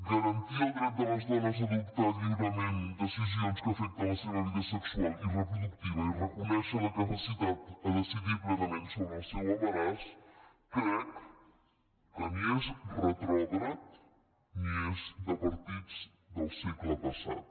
garantir el dret de les dones a adoptar lliurement decisions que afecten la seva vida sexual i reproductiva i reconèixer la necessitat de decidir plenament sobre el seu embaràs crec que ni és retrògrad ni és de partits del segle passat